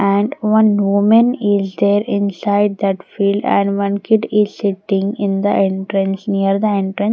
and one women is there inside that field and one kid is sitting in the entrance near the entrance.